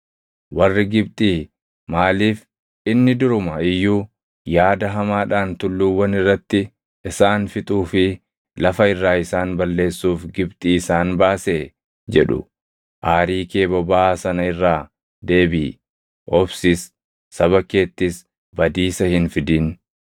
Warri Gibxii maaliif, ‘Inni duruma iyyuu yaada hamaadhaan tulluuwwan irratti isaan fixuu fi lafa irraa isaan balleessuuf Gibxii isaan baasee?’ jedhu. Aarii kee bobaʼaa sana irraa deebiʼi; obsis; saba keettis badiisa hin fidin.